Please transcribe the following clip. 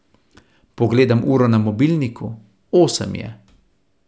Pogledam uro na mobilniku, osem je.